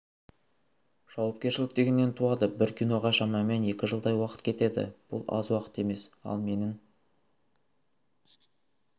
жауапкершілік дегеннен туады бір киноға шамамен екі жылдай уақыт кетеді бұл аз уақыт емес ал менің